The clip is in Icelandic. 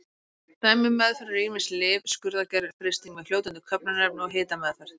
Dæmi um meðferðir eru ýmis lyf, skurðaðgerðir, frysting með fljótandi köfnunarefni og hitameðferð.